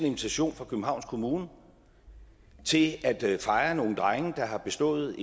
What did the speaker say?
invitation fra københavns kommune til at fejre nogle drenge der har bestået